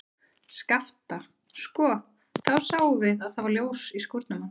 Skapta, sko, þá sáum við að það var ljós í skúrnum hans.